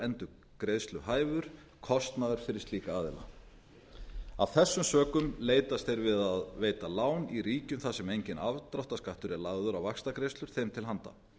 ófrádráttarbær óendurgreiðsluhæfur kostnaður fyrir slíka aðila af þessum sökum leitast þeir við að veita lán í ríkjum þar sem enginn afdráttarskattur er lagður á vaxtagreiðslur þeim til handa